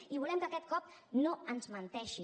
i volem que aquest cop no ens menteixi